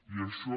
i això